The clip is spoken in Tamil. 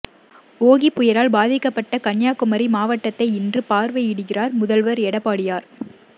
ஓகி புயலால் பாதிக்கப்பட்ட கன்னியாகுமரி மாவட்டத்தை இன்று பார்வையிடுகிறார் முதல்வர் எடப்பாடியார்